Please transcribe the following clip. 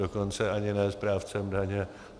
Dokonce ani ne správcem daně.